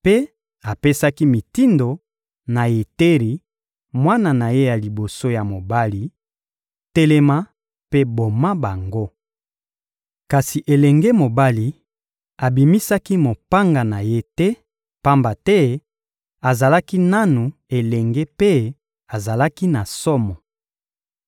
Mpe apesaki mitindo na Yeteri, mwana na ye ya liboso ya mobali: «Telema mpe boma bango!» Kasi elenge mobali abimisaki mopanga na ye te, pamba te azalaki nanu elenge mpe azalaki na somo.